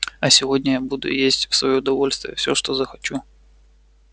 а сегодня я буду есть в своё удовольствие все что захочу